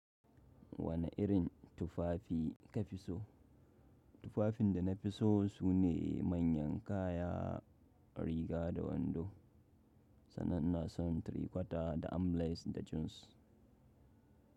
Wane irin tufafi ka fi so? Tufafin da na fi so sune manyan kaya, riga da wando. Sannan na so trikwata da amlace da jeans.